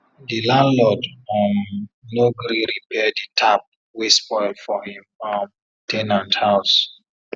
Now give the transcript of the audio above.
di landlord um no gree repair d tap wey spoil for him um ten ant house